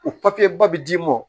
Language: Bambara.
O papiye ba bi d'i ma